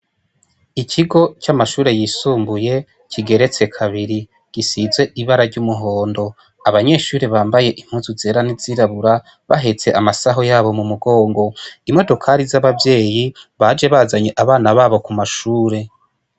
Ikigo ca mashuri y'isumbuye kigeretse kabiri gisize ibara ry'umuhondo abanyeshuri bambaye impuzu zera n'izirabura bahetse amasaho yabo mu mugongo imodokari za abavyeyi baje bazanye abana babo ku mashuri.